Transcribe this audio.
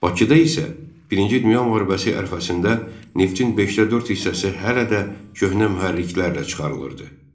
Bakıda isə Birinci Dünya müharibəsi ərəfəsində neftin beşdə dörd hissəsi hələ də köhnə mühərriklərlə çıxarılırdı.